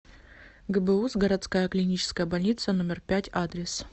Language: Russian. гбуз городская клиническая больница номер пять адрес